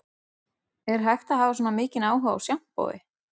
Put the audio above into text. Er hægt að hafa svona mikinn áhuga á sjampói